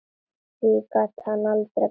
Því gat hann aldrei gleymt.